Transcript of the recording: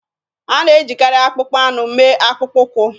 A na-ejikarị akpụkpọ anụ mee akpụkpọ ụkwụ.